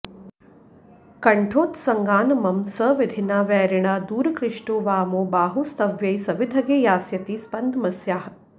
कण्ठोत्सङ्गान्मम स विधिना वैरिणा दूरकृष्टो वामो बाहुस्त्वयि सविधगे यास्यति स्पन्दमस्याः